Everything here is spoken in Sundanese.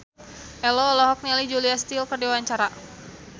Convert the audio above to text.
Ello olohok ningali Julia Stiles keur diwawancara